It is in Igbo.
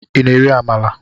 i na- eri Amala?